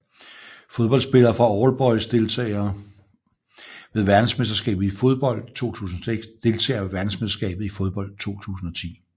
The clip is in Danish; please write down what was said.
Fodboldspillere fra All Boys Deltagere ved verdensmesterskabet i fodbold 2006 Deltagere ved verdensmesterskabet i fodbold 2010